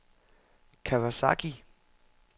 Kawasaki